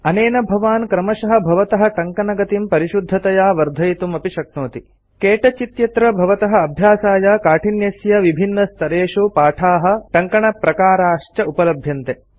अनेन भवान् क्रमशः भवतः टङ्कणगतिं परिशुद्धतया वर्धयितुं शक्नोति क्तौच इत्यत्र भवतः अभ्यासाय काठिन्यस्य विभिन्नस्तरेषु पाठाः टङ्कणप्रकाराः च उपलभ्यन्ते